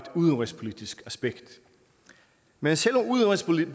udenrigspolitisk aspekt men selv